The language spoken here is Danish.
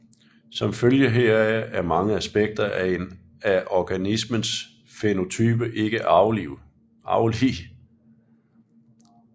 Som følge heraf er mange aspekter af en organismes fænotype ikke arvelige